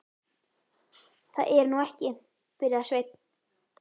Það er nú ekki. byrjaði Sveinn.